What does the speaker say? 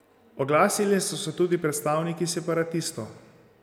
Oglasili so se tudi predstavniki separatistov.